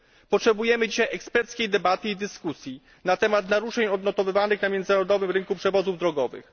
Potrzebujemy dzisiaj eksperckiej debaty i dyskusji na temat naruszeń odnotowywanych na międzynarodowym rynku przewozów drogowych.